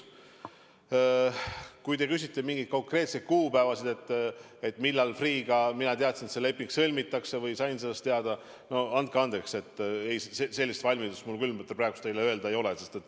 Kui te küsite mingisuguseid konkreetseid kuupäevi, millal mina sain teada, et Freeh'ga leping sõlmitakse, siis andke andeks, aga sellist valmidust seda öelda mul küll praegu ei ole.